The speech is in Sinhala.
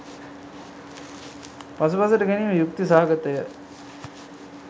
පසුපසට ගැනීම යුක්ති සහගතය.